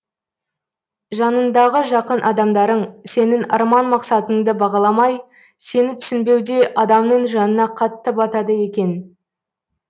жаныңдағы жақын адамдарың сенің арман мақсаттыңды бағаламай сені түсінбеуде адамның жанына қатты батады екен